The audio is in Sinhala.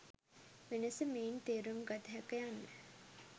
වෙනස මෙයින් තේරුම් ගත හැක යන්න